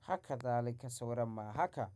Haka zalika sauran ma haka.